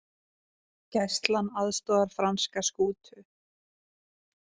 Gæslan aðstoðar franska skútu